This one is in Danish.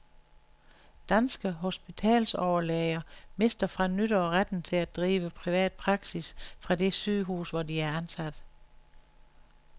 Danske hospitalsoverlæger mister fra nytår retten til at drive privat praksis fra det sygehus, hvor de er ansat.